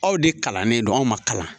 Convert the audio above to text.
Aw de kalannen don anw ma kalan